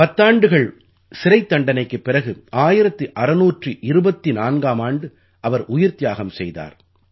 பத்தாண்டுகள் சிறைத்தண்டனைக்குப் பிறகு 1624ஆம் ஆண்டு அவர் உயிர்த்தியாகம் செய்தார்